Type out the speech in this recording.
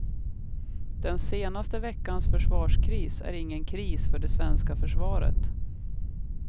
Den senaste veckans försvarskris är ingen kris för det svenska försvaret.